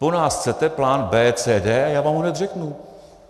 Po nás chcete plán B, C, D - já vám ho hned řeknu.